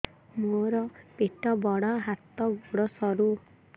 ମୋର ପେଟ ବଡ ହାତ ଗୋଡ ସରୁ